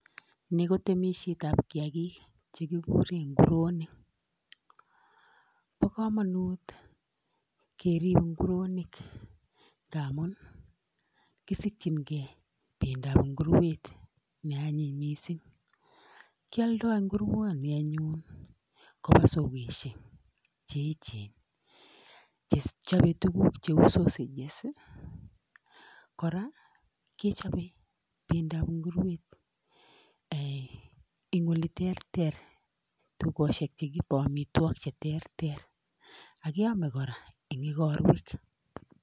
Ni ko temisietab kiyaagiik che kikuuren nguruonik. Bo komonut keerib nguruonik, ngamun ikisikyingei bendab inguruet ne anyiny missing. Kioldoo inguruonik koba sokosiek che echen chechobe tuguuk cheu sausages kora kechoben bendab inguruet en oleterter ,dukosiek chekiibe amitwogiik cheterter. Ak keome kora en igorwek.